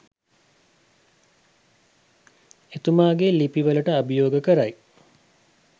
එතුමාගෙ ලිපි වලට අභියෝග කරයි